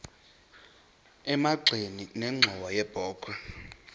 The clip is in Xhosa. emagxeni nenxhowa yebokhwe